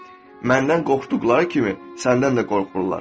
məndən qorxduqları kimi səndən də qorxurlar.